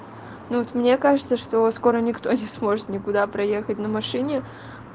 ну вот мне кажется что скоро никто не сможет никуда проехать на машине